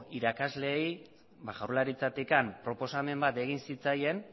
irakasleei jaurlaritzatik proposamen bat egin zitzaien